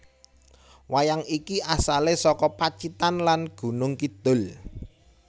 Wayang iki asalè saka Pacitan lan Gunung Kidul